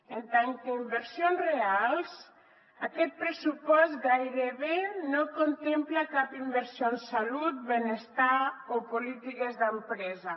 en tant que inversions reals aquest pressupost gairebé no contempla cap inversió en salut benestar o polítiques d’empresa